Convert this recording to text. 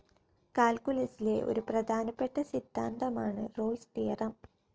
കാൽക്കുലസിലെ ഒരു പ്രധാനപ്പെട്ട സിദ്ധാന്തമാണ് റോൾസ്‌ തിയറി